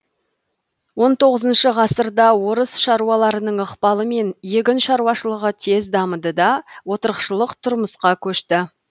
он тоғызыншы ғасырда орыс шаруаларының ықпалымен егін шаруашылығы тез дамыды да отырықшылық тұрмысқа көшті